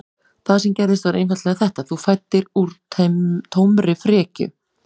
Það sem gerðist var einfaldlega þetta: Þú fæddir úr tómri frekju.